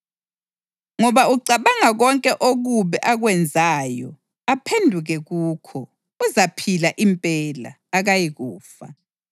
Ngoba ucabanga konke okubi akwenzayo aphenduke kukho, uzaphila impela; akayikufa.